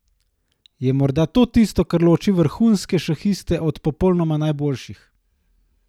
Je morda to tisto, kar loči vrhunske šahiste od popolnoma najboljših?